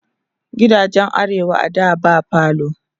gidajen arewa a da ba falo